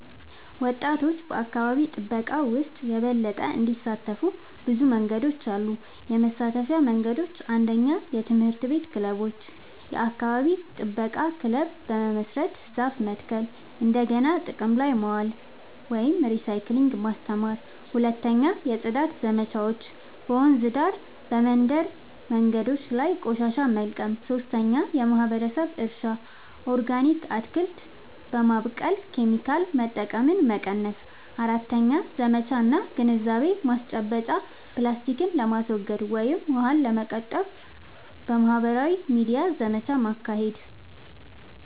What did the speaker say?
ወጣቶች በአካባቢ ጥበቃ ውስጥ የበለጠ እንዲሳተፉ ብዙ መንገዶች አሉ -የመሳተፊያ መንገዶች፦ 1. የትምህርት ቤት ክበቦች – የአካባቢ ጥበቃ ክለብ በመመስረት ዛፍ መትከል፣ እንደገና ጥቅም ላይ ማዋል (recycling) ማስተማር። 2. የጽዳት ዘመቻዎች – በወንዝ ዳርቻ፣ በመንደር መንገዶች ላይ ቆሻሻ መልቀም። 3. የማህበረሰብ እርሻ – ኦርጋኒክ አትክልት በማብቀል ኬሚካል መጠቀምን መቀነስ። 4. ዘመቻ እና ግንዛቤ ማስጨበጫ – ፕላስቲክን ለማስወገድ ወይም ውሃን ለመቆጠብ በማህበራዊ ሚዲያ ዘመቻ ማካሄድ።